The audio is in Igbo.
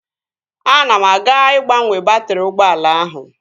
Ana m aga ịgbanwe baatrị ụgbọala ahụ